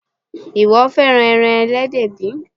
Ìwọ fẹ́ràn ẹran Ẹlẹ́dẹ̀ bí?